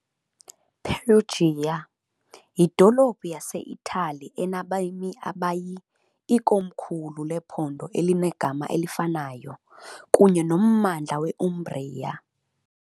Perugia , yidolophu yaseItali enabemi abayi , ikomkhulu lephondo elinegama elifanayo, kunye nommandla we Umbria .